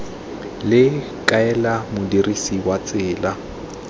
le kaela modirisi wa tsela